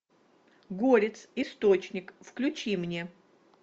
горец источник включи мне